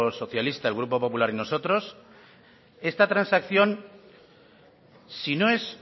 socialista el grupo popular y nosotros esta transacción si no es